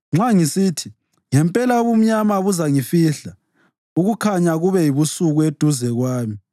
Nxa ngisithi, “Ngempela ubumnyama buzangifihla ukukhanya kube yibusuku eduze kwami,”